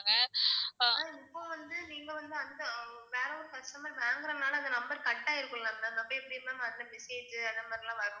Ma'am இப்போ வந்து நீங்க வந்து அந்த வேற ஒரு customer வாங்குறனால அந்த number cut ஆயிருக்கும்ல ma'am அப்ரோ எப்படி ma'am அதுல message உ அந்த மாதிரிலாம் வரும்